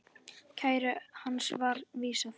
Kæru hans var vísað frá.